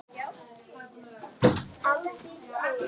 Samt tóku timburmennirnir sífellt lengri tíma.